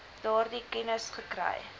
daardie kennis gekry